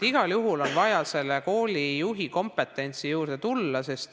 Igal juhul on vaja koolijuhi kompetentsi juurde tulla.